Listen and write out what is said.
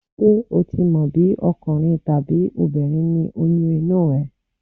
Ṣé ò tí mọ̀ bí ọkùnrin tàbí obìnrin ni oyún inú ẹ?